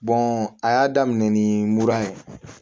a y'a daminɛ ni mura ye